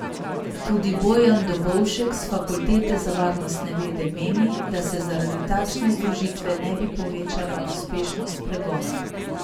Tudi Bojan Dobovšek s Fakultete za varnostne vede meni, da se zaradi takšne združitve ne bi povečala uspešnost pregona.